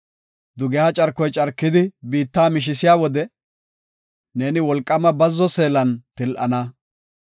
Dugeha carkoy carkidi biitta mishisiya wode, neeni wolqaama bazzo seelan til7ana.